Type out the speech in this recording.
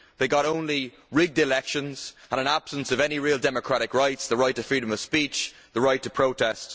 They got only rigged elections and an absence of any real democratic rights, the right to freedom of speech, the right to protest.